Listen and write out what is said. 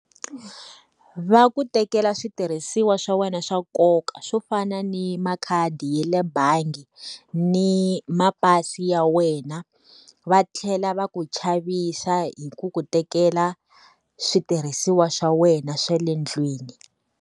Va ku tekela switirhisiwa swa wena swa nkoka swo fana ni makhadi ya le bangi, ni mapasi ya wena, va tlhela va ku chavisa hi ku ku tekela switirhisiwa swa wena swa le ndlwini.